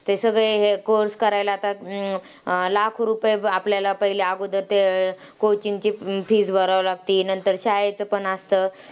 ते सगळे हे course करायला आता, अं लाखो रुपये प आपल्याला पहिले अगोदर ते coaching ची fees भरावी लागती, नंतर शाळेचं पण असतं